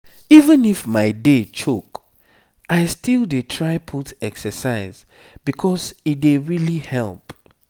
even if my day choke i still dey try put exercise because e dey really help.